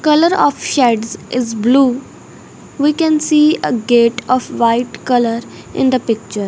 colour of sheds is blue we can see ah gate of white colour in the picture.